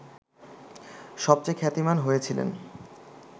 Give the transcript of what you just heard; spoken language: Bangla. সবচেয়ে খ্যাতিমান হয়েছিলেন